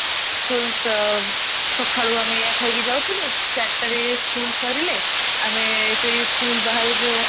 school ସଖାଳୁ ଆମେ ଏଇଆ ଖିଆ କି ଯାଉ ଥିଲୁ ଚାରିଟା ରେ school ସରିଲେ ଆମେ ସେଇ school ବାହାରେ ଯୋଉ